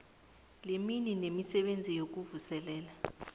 lemini nemisebenzi yokuvuselela